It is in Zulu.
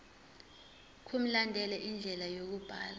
mkulandelwe indlela yokubhalwa